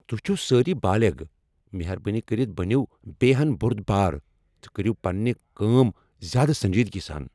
تُہۍ چھِو سٲری بالغ! مہربٲنی کٔرتھ بٔنِو بییہِ ہَن بورُدبار تہٕ کٔرِو پننہِ کٲم زیادٕ سنجیدگی سان۔